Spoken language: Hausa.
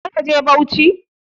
Za ka je Bauchi?